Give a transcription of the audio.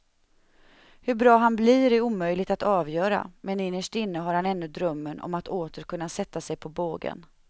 Hur bra han blir är omöjligt att avgöra men innerst inne har han ännu drömmen om att åter kunna sätta sig på bågen.